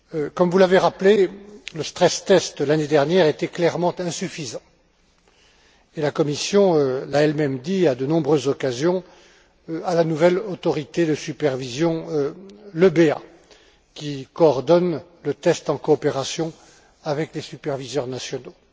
Comme vous l'avez rappelé, le stress test l'année dernière, était clairement insuffisant et la Commission l'a elle même dit à de nombreuses occasions à la nouvelle autorité de supervision, l'EBA, qui coordonne le test en coopération avec les superviseurs nationaux.